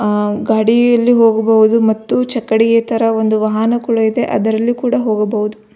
ಆ ಗಾಡಿಯಲ್ಲಿ ಹೋಗಬಹುದು ಮತ್ತು ಚಕ್ಕಡಿಯ ತರ ಒಂದು ವಾಹನ ಕೂಡ ಇದೆ ಅದರಲ್ಲಿ ಕೂಡ ಹೋಗಬಹುದು.